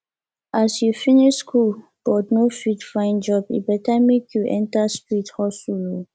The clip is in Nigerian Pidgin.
as you finish school but no fit find good job e better make you enter street hustle oo